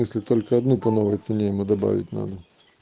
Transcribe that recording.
если только одну по новой цене ему добавить надо